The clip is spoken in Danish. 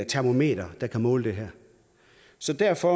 termometer der kan måle det her så derfor